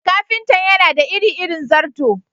Ƙafintan yana da iri-irin zarto.